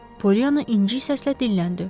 Polyanna inci səslə dilləndi.